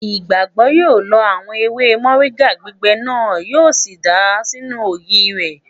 Ìgbàgbọ́ yóò lọ àwọn ewé mọ̀ríńgà gbígbẹ náà, yíò sì dàá sínú ògì rẹ̀